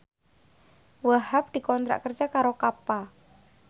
Wahhab dikontrak kerja karo Kappa